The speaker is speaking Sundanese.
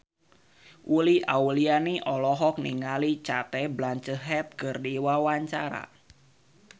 Uli Auliani olohok ningali Cate Blanchett keur diwawancara